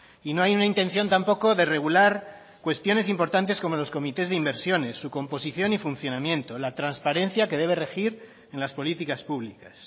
y no hay una intención tampoco de regular cuestiones importantes como los comités de inversiones su composición y funcionamiento la transparencia que debe regir en las políticas públicas